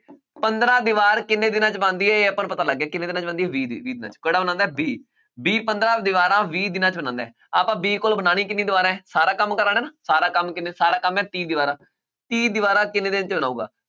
ਪੰਦਰਾਂ ਦੀਵਾਰ ਕਿੰਨੇ ਦਿਨਾਂ 'ਚ ਬਣਦੀ ਹੈ ਇਹ ਆਪਾਂ ਨੂੰ ਪਤਾ ਲੱਗ ਗਿਆ, ਕਿੰਨੇ ਦਿਨਾਂ 'ਚ ਬਣਦੀ ਹੈ ਵੀਹ ਦਿ~ ਵੀਹ ਦਿਨਾਂ 'ਚ ਕਿਹੜਾ ਬਣਾਉਂਦਾ ਹੈ b, b ਪੰਦਰਾਂ ਦੀਵਾਰਾਂ ਵੀਹ ਦਿਨਾਂ 'ਚ ਬਣਾਉਂਦਾ ਹੈ ਆਪਾਂ b ਕੋਲੋਂ ਬਣਾਉਣੀ ਕਿੰਨੀ ਦੀਵਾਰਾਂ ਹੈ ਸਾਰਾ ਕੰਮ ਕਰਵਾਉਣਾ ਸਾਰਾ ਕੰਮ ਕਿੰਨੇ ਸਾਰਾ ਕੰਮ ਹੈ ਤੀਹ ਦੀਵਾਰਾਂ ਤੀਹ ਦੀਵਾਰਾਂ ਕਿੰਨੇ ਦਿਨ 'ਚ ਬਣਾਊਗਾ